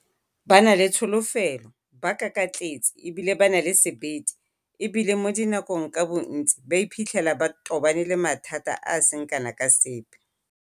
Ba na le tsholofelo, ba kakatletse e bile ba na le sebete, e bile mo dinakong ka bontsi ba iphitlhela ba tobane le mathata a a seng kana ka sepe.